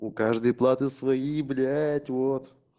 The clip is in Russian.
у каждой платы свои блять вот